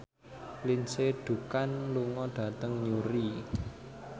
Lindsay Ducan lunga dhateng Newry